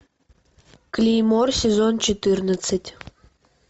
клеймор сезон четырнадцать